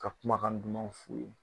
Ka kumakan duman f'u ye.